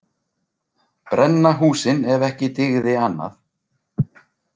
Brenna húsin ef ekki dygði annað.